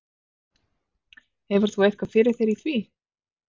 Hefur þú eitthvað fyrir þér í því?